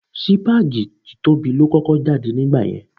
Sípágì títóbi ló kọ́kọ́ jáde nígbà yẹn.